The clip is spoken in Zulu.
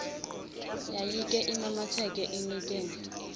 yayike imamatheke inikine